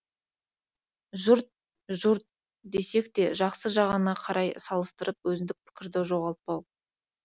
жұрт жұрт десекте жақсы жағына қарай салыстырып өзіндік пікірді жоғалтпау